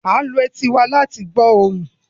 We use our ears to hear sounds